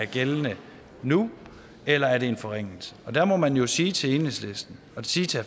gældende nu eller er det en forringelse der må man jo sige til enhedslisten og sige til